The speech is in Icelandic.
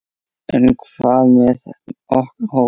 En hvað með okkar hóp?